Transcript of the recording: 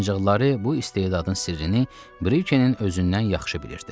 Ancaq Lare bu istedadın sirrini Brikenin özündən yaxşı bilirdi.